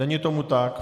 Není tomu tak.